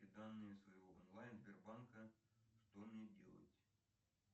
данные своего онлайн сбербанка что мне делать